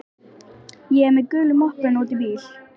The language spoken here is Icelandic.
Ég er með gulu möppuna úti í bíl.